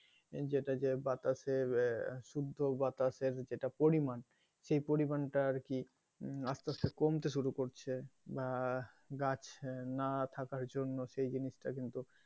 যেটা যে বাতাসে আহ শুদ্ধ বাতাসের যেটা পরিমান সেই পরিমাণটা আরকি আসতে আসতে কমতে শুরু করছে বা গাছ না থাকার জন্য সেই জিনিসটা কিন্তু,